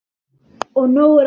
Og nóg er af því.